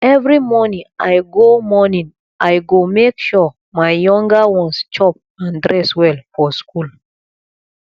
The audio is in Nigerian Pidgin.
every morning i go morning i go make sure my younger ones chop and dress well for school